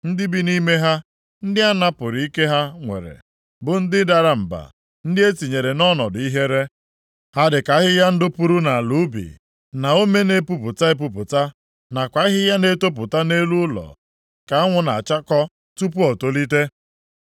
Ndị bi nʼime ha, ndị a napụrụ ike ha nwere, bụ ndị dara mba, ndị e tinyekwara nʼọnọdụ ihere. Ha dịka ahịhịa ndụ puru nʼala ubi, na ome na-epupụta epupụta, nakwa ahịhịa na-etopụta nʼelu ụlọ nke anwụ na-achakpọ tupu o tolite.